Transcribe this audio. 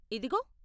ఇదిగో!